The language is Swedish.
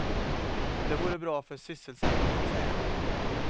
Det vore bra för sysselsättningen, säger han.